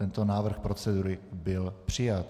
Tento návrh procedury byl přijat.